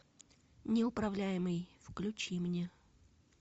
неуправляемый включи мне